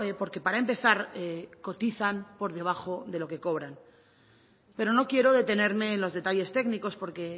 porque para empezar cotizan por debajo de lo que cobran pero no quiero detenerme en los detalles técnicos porque